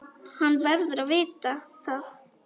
Hann verður að vita það.